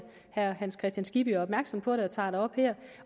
herre hans kristian skibby er opmærksom på det og tager det op her